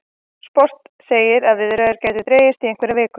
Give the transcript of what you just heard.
Sport segir að viðræður gætu dregist í einhverjar vikur